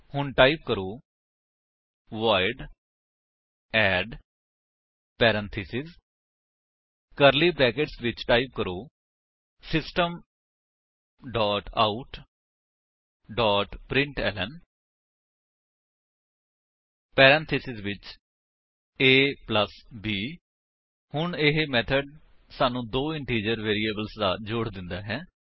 ਹੁਣ ਟਾਈਪ ਕਰੋ void add parenthesis curly brackets ਵਿੱਚ ਟਾਈਪ ਕਰੋ system dot out dot println parenthesis ਵਿੱਚ a b ਹੁਣ ਇਹ ਮੇਥਡ ਸਾਨੂੰ ਦੋ ਇੰਟੀਜਰ ਵੇਰਿਏਬਲਸ ਦਾ ਜੋੜ ਦਿੰਦਾ ਹੈ